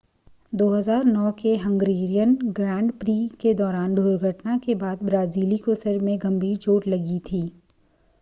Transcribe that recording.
2009 के Hungarian grand prix के दौरान दुर्घटना के बाद ब्राज़िली को सिर में गंभीर चोट लगी थी